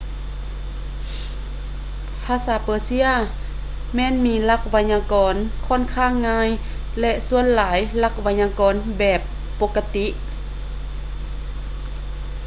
ພາສາເປີເຊຍແມ່ນມີຫຼັກໄວຍາກອນຂ້ອນຂ້າງງ່າຍ ແລະ ສ່ວນຫຼາຍຫຼັກໄວຍາກອນແບບແບບປົກກະຕິ